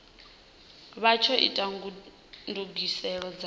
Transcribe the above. vha tsho ita ndugiselo dza